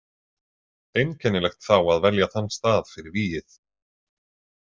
Einkennilegt þá að velja þann stað fyrir vígið.